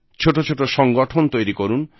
ছোট ছোট সংগঠন তৈরি করুন